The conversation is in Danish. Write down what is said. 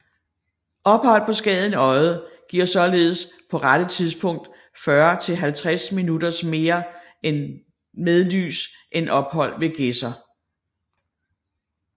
Ophold på Skagen Odde giver således på dette tidspunkt 40 til 50 minutters mere med lys end ophold ved Gedser